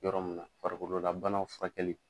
Yɔrɔ mun na farikolola banaw furakɛli.